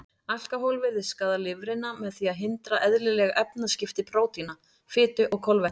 Alkóhól virðist skaða lifrina með því að hindra eðlileg efnaskipti prótína, fitu og kolvetna.